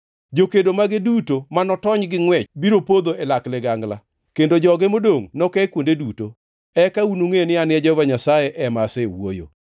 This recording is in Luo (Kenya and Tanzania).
Jokedo mage duto ma notony gi ngʼwech biro podho e lak ligangla, kendo joge modongʼ noke kuonde duto. Eka unungʼe ni an Jehova Nyasaye ema asewuoyo.